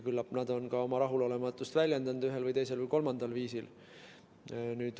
Küllap nad on ka oma rahulolematust ühel, teisel või kolmandal viisil väljendanud.